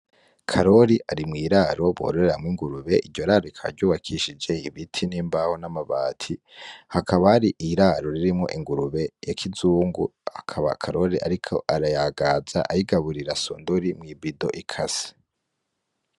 Karori ari mw'iraro bororeramwo ingurube, iryo raro rikaba ryubakishije ibiti n’imbaho n’amabati. Hakaba hari iraro ririmwo ingurube y’akizungu, akaba Karori ariko arayagaza ayigaburira sondori mw'ibido ikase.